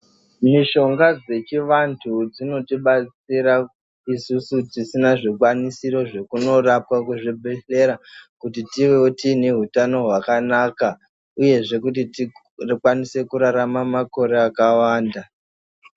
Mishonga dzechivantu dzonotibatsira isusu tisina zvikwanisiro zvekunorapwa kuzvibhedhlera, kuti tivewo tiine hutano hwakanaka, uyezve kuti tigo tikwanise kurarama makore akawanda.